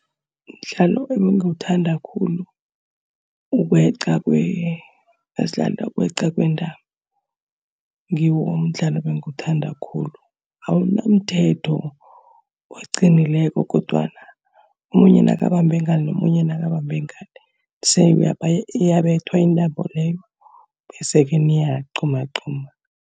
Umdlalo ebengiwuthanda khulu, ukweq ukweqa kwentambo. Ngiwo umdlalo ebangiwuthanda khulu. Awunamthetho oqinileko kodwana omunye nakabambe ngale, nomunye nakabambe ngale, iyabethwa intambo leyo, bese-ke niyaqgumagquma.